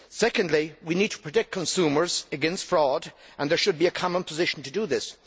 Secondly, we need to protect consumers against fraud and there should be a common position to do this.